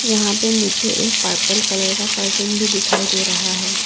यहां पे मुझे एक पर्पल कलर का कर्टन भी दिखाई दे रहा है।